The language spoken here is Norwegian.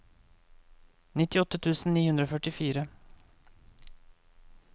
nittiåtte tusen ni hundre og førtifire